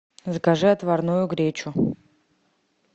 закажи отварную гречу